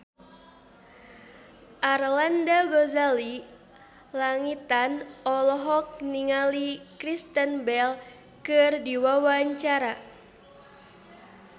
Arlanda Ghazali Langitan olohok ningali Kristen Bell keur diwawancara